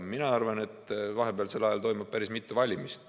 Mina arvan, et vahepealsel ajal toimub päris mitu valimist.